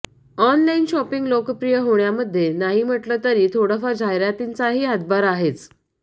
online shopping लोकप्रिय होण्यामध्ये नाही म्हटले तरी थोडाफार जाहिरातींचाही हातभार आहेच